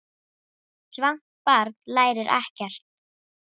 Svangt barn lærir ekkert.